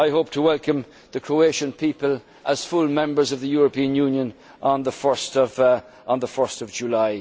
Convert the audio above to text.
player. I hope to welcome the Croatian people as full members of the European Union on